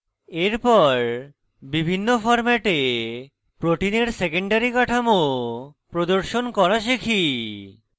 এরপর বিভিন্ন ফরম্যাটে protein secondary কাঠামো প্রদর্শন করা শিখি